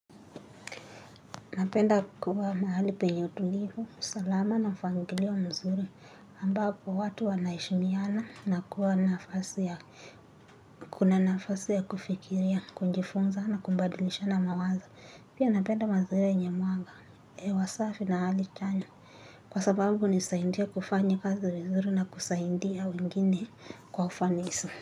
Napenda kuwa mahali penye utulivu, usalama na mpangilio mzuri ambapo watu wanaheshimiana na kuwa nafasi ya kuna nafasi ya kufikiria, kujifunza na kubadilisha na mawazo. Pia napenda mazoea yenye mwaga, hewa safi na hali chanya. Kwa sababu nisaidia kufanya kazi vizuri na kusaidia wengine kwa ufanisi.